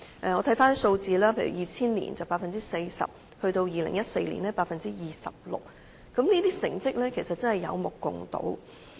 回看數字，在2000年是 40%， 在2014年更是 26%， 成績是有目共睹的。